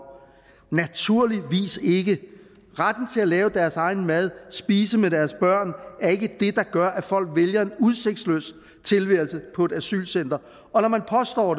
naturligvis ikke retten til at lave deres egen mad og spise med deres børn er ikke det der gør at folk vælger en udsigtsløs tilværelse på et asylcenter og når man påstår